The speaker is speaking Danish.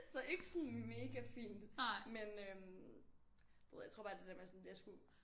Så ikke sådan mega fint men øh du ved jeg tror bare det er det der med at sådan jeg skulle